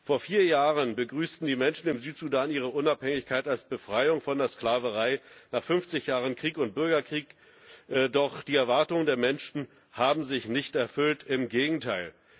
Vor vier Jahren begrüßten die Menschen ihre Unabhängigkeit als Befreiung von der Sklaverei nach fünfzig Jahren Krieg und Bürgerkrieg. Doch die Erwartungen der Menschen haben sich nicht erfüllt, im Gegenteil